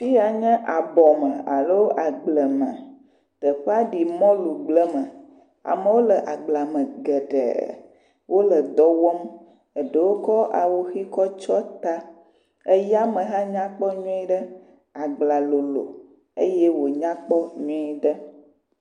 Fi ya nye abɔ me alo agble me. Teƒea ɖi mɔlugble me ameawo le agblea me geɖe. Wole dɔ wɔm eɖowo kɔ awu ʋi kɔ tsɔ ta. Eya me hã nyakpɔ nyuiɖe. Agblea lolo eye wonya kpɔ nyuie ɖe.